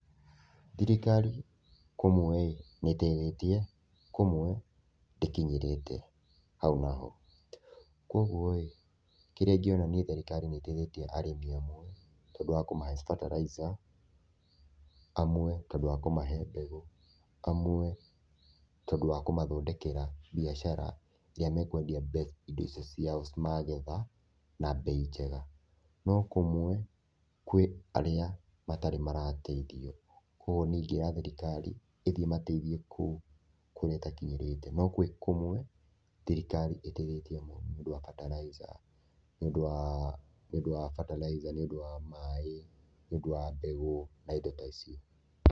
Thirikari kũmwe rĩ, nĩ ĩteithĩtie, kũmwe ndĩkinyĩrĩte, hau naho. Kguo rĩ, kĩrĩa niĩ ingĩona thirikari nĩ ĩteithĩtie arĩmi amwe, tondũ wa kũmahe bataraitha, amwe tondũ wa kũmahe mbegũ, amwe tondũ wa kũmathondekera mbiacara iria mekwendia indo icio ciao magetha na mbei njega, no kũmwe kwĩ arĩa matarĩ marateithio, koguo niĩ ingĩra thirikari, ĩthiĩ ĩmateithie kũu kũrĩa ĩtakinyĩrĩte, no kwĩ kũmwe thirikari ĩteithĩtie mũno nĩũndũ wa bataraitha nĩũndũ wa nĩũndũ wa bataraitha, nĩũndũ wa maĩ, nĩũndũ wa mbegũ na indo ta ici.